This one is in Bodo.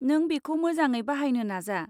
नों बेखौ मोजाङै बाहायनो नाजा।